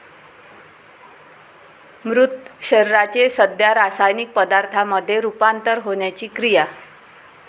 मृत शरीराचे सध्या रासायनिक पदार्थामध्ये रूपांतर होण्याची क्रिया.